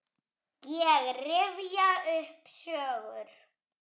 Ég rifja upp sögur.